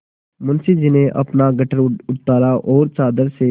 मुंशी जी ने अपना गट्ठर उतारा और चादर से